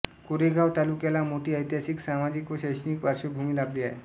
कोरेगांव तालुक्याला मोठी ऐतिहासिक सामाजिक व शैक्षणिक पार्श्वभूमी लाभली आहे